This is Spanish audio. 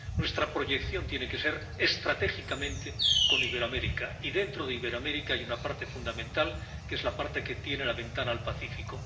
Nuestra proyección tiene que ser estratégicamente con Iberoamérica, y, dentro de Iberoamérica, hay una parte fundamental, que es la parte que tiene la ventana al Pacífico.